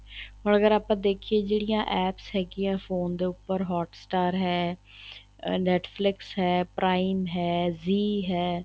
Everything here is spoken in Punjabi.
ਹੁਣ ਅਗਰ ਆਪਾਂ ਦੇਖੀਏ ਜਿਹੜੀਆਂ APPS ਹੈਗੀਆਂ ਫੋਨ ਦੇ ਉੱਪਰ hot-star ਹੈ Netflix ਹੈ prime ਹੈ zee ਹੈ